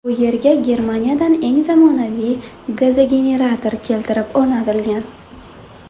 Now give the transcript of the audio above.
Bu yerga Germaniyadan eng zamonaviy gazogenerator keltirib o‘rnatilgan.